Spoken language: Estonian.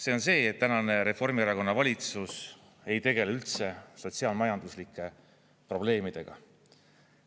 See on see, et tänane Reformierakonna valitsus ei tegele üldse sotsiaal-majanduslike probleemidega.